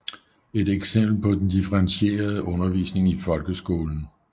Et eksempel er den differentierede undervisning i folkeskolen